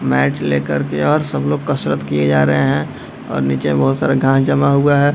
Mat ले कर के और सब लोग कसरत किये जा रहे हैं और निचे बहुत सारा घांस जमा हुआ है।